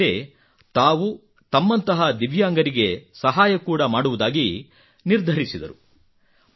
ಜೊತೆಯಲ್ಲೇ ತಾವು ತಮ್ಮಂತಹ ದಿವ್ಯಾಂಗರಿಗೆ ಸಹಾಯ ಕೂಡಾ ಮಾಡುವುದಾಗಿ ಕೂಡಾ ನಿರ್ಧರಿಸಿದನು